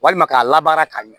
Walima k'a labaara ka ɲɛ